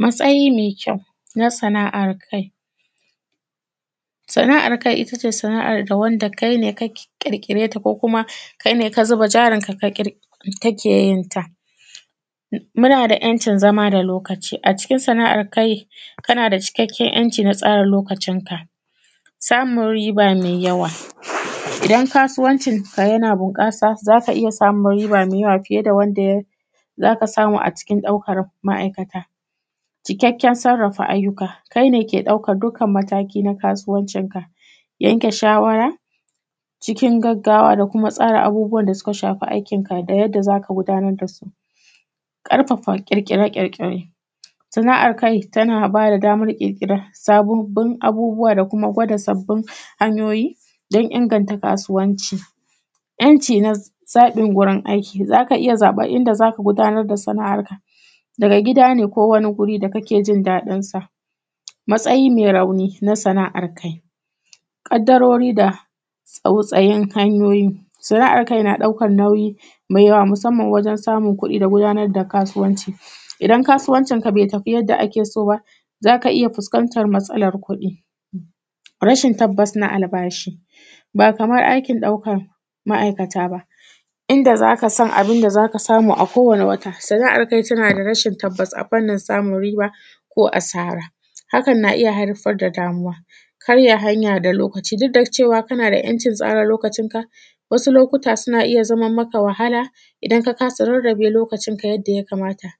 Matsayi mai kyau na sana’ar kai. Sana’ar kai ittace sana’ar da wanda kaine ka ƙirƙireta ko kuma kaine kazuba jari ka keyinta. Munada ‘yan’cin zama da lokaci a cikin sana’ar kai kanada cikakken ‘yan’ci na tsara lokacin ka, samun riba mai yawa idan kasuwancin ka yana bunƙasa zaka iyya samun riba mai yawa fiye da wanda zaka samu a cikin ɗaukan ma’aikata. Cikakken sarrafa ayyuka, kaine ke ɗaukan dukkan mataki na kasuwancin ka, yanke shawara cikin gaggawa da kuma abubuwan da suka shafi aikin ka, da yadda zaka gudanar dasu. Ƙarfafa ƙirƙire ƙirƙire sana’ar kai tana bada damar ƙirƙiran sababbin abubuwan da kuma gwada sabbin hanyoyi, dan inganta kasuwanci. ‘yan’ ci na zaɓin gurin aiki zaka iyya zaɓan inda zaka gudanar da sana’an ka, daga gida ne ko wani guri da kakejin daɗinsa. Matsayi mai rauni na sana’ar kai, ƙaddarori da tsautsayin hanyoyi. Sana’ar kai na ɗaukan nauyi mai yawa musamman ma wajen samun kuɗi da gudnar da kasuwanci. Idan kasuwancin ka bai tafi yadda akeso ba, zaka iyya fuskantar matsalar kuɗi. rashin tabbasna albashi, ba Kaman ɗaukan ba inda zakasan abunda zaka samu a kowani wata. Sana’ar kai tanada rashin tabbas a fannin samun riba ko asara hakan na iyya haifar da damuwa. Karya hanya da lokaci dukda cewa kanada ‘yan’ cin tsara lokacinka wasu lokuta suna iya zaman maka wahala idan ka kasa rarrabe lokacin ka yanda ya kamata.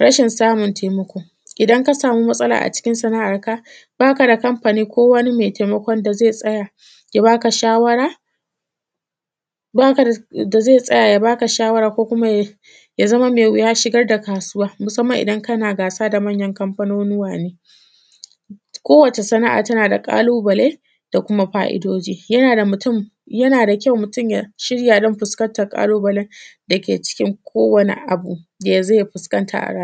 Rashin samun taimako idan ka sani matsala a cikin sana’ar ka bakada kamfani ko wani mai taimakon da zai tsaya ya baka shawara, baka da, da zai tsaya ya baka shawara, ko kuma ya shigar da kasuwa. Musamman idan kana gasa da manyan kafanunuwa ne. ko wata sana’a tanada ƙalubale, da kuma fa’idoji, yanada mutum, yana da kyau mutun yashirya dan fuskantar ƙalubalen dake cikin ko wani abu dazai fuskanta a rayuwa.